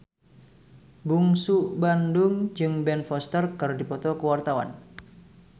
Bungsu Bandung jeung Ben Foster keur dipoto ku wartawan